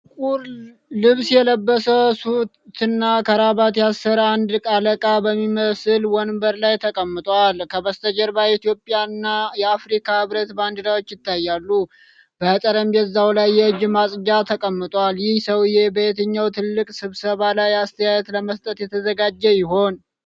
ጥቁር ልብስ የለበሰ፣ ሱትና ክራባት ያሰረ አንድ አለቃ በሚመስል ወንበር ላይ ተቀምጧል። ከበስተጀርባ የኢትዮጵያ እና የአፍሪካ ህብረት ባንዲራዎች ይታያሉ፤ በጠረጴዛው ላይ የእጅ ማጽጃ ተቀምጧል። ይህ ሰውዬ በየትኛው ትልቅ ስብሰባ ላይ አስተያየት ለመስጠት እየተዘጋጀ ይሆን?